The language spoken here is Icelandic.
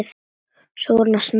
Svona snemma?